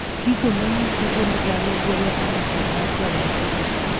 Gigo manyiso gund dhano golo andike mar ranyisi gi